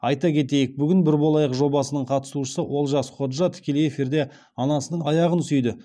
айта кетейік бүгін бір болайық жобасының қатысушысы олжас ходжа тікелей эфирде анасының аяғын сүйді